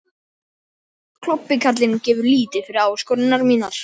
Klobbi karlinn gefur lítið fyrir áskoranir mínar.